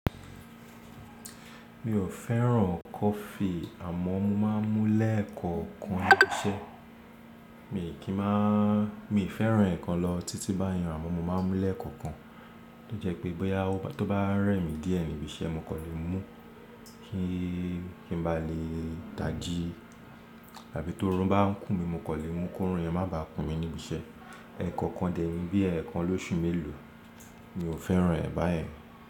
Mi ò fẹ́ràn coffee àmọ́ mo máa ń mú lẹ́ẹ̀kọ̀kan níbi iṣẹ́. Mi kì í máa-- mi n fẹ́ràn ẹ̀ kan lọ títí báyẹn àmọ́ mo máa ń mú lẹ́ẹ̀kọ̀kan. Ó jẹ́ pé bóyá tó bá rẹ̀ mí díẹ̀ níbi iṣẹ́, mo kò lè mú kí, kí n bá lè dájí àbí tó run bá ń kùn mí, mo kò lè mú kó rùn yẹn má bá kun mí níbi iṣẹ́. Ẹ̀ẹ̀kọ̀kan dẹ̀ níbí ẹ̀ẹ̀kan lóṣù mélòó, mi ò fẹ́ràn ẹ̀ báyẹn.